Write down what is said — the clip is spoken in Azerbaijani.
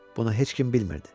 Bunu heç kim bilmirdi.